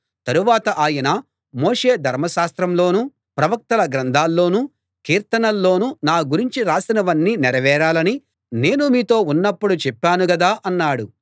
తరువాత ఆయన మోషే ధర్మశాస్త్రంలోనూ ప్రవక్తల గ్రంథాల్లోనూ కీర్తనల్లోనూ నా గురించి రాసినవన్నీ నెరవేరాలని నేను మీతో ఉన్నప్పుడు చెప్పాను గదా అన్నాడు